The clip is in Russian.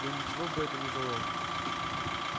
но ничего бы это не дало